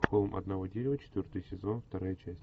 холм одного дерева четвертый сезон вторая часть